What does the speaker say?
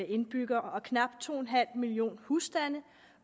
indbyggere og knap to en halv millioner husstande